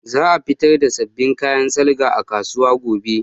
Za a fitar da sabbin kayan salga a kasuwa gobe